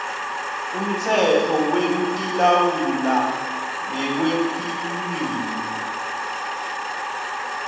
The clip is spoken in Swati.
umtsetfo wekutilawula ngekwetilwimi